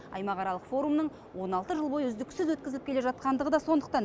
аймақаралық форумның он алты жыл бойы үздіксіз өткізіліп келе жатқандығы да сондықтан